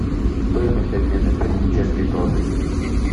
стоимость обмена песо в чешской кроны